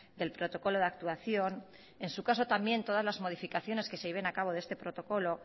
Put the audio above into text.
del protocolo de actuación en su caso también todas las modificaciones que se lleven acabo de este protocolo